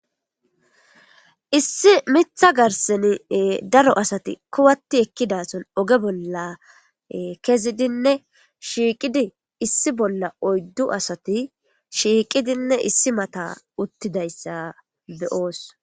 issi mitha garseni daro asati kuwatti ekkidason oge bolla kezidinne shiiqidi issi bolla oyddu asati shiiqidinne issi mata uttidayssa beyoos